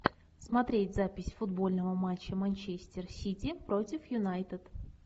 смотреть запись футбольного матча манчестер сити против юнайтед